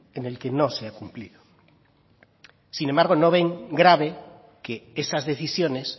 en el que no se ha cumplido sin embargo no ven grave que esas decisiones